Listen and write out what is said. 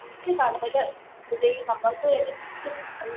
തിരിച്ചു കടല്, പുഴയും നമുക്ക് വേണ്ടി തിരിച്ച് ന്നിട്ട്